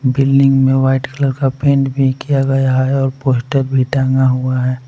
Building में white colour का paint भी किया गया है और पोस्टर भी टांगा हुआ है।